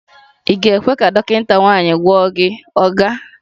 Ị ga-ekwe ka dọkịta nwanyị gwọọ gị, oga?